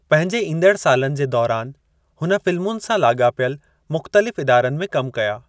पंहिंजे ईंदड़ सालनि जे दौरान, हुन फ़िल्मुनि सां लाॻापियल मुख़्तलिफ़ इदारनि में कम कया।